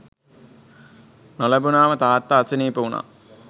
නොලැබුණාම තාත්තා අසනීප වුණා